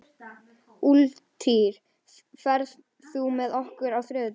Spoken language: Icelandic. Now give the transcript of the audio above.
Úlftýr, ferð þú með okkur á þriðjudaginn?